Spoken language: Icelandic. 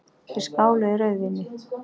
Þeir skáluðu í rauðvíni.